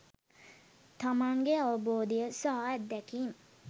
තමන්ගේ අවබෝධය සහ අත්දැකීම්